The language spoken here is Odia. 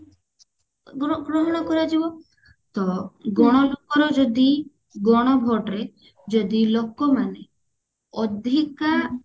ଗ୍ର ଗ୍ରହଣ କରାଯିବ ତ ଗଣ ଲୋକ ର ଯଦି ଗଣ vote ରେ ଯଦି ଲୋକମାନେ ଅଧିକା